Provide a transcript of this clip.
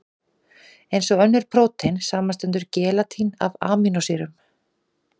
Eins og önnur prótein, samanstendur gelatín af amínósýrum.